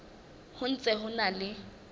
ho ntse ho na le